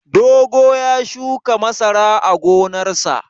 Dogo ya shuka masara a gonarsa.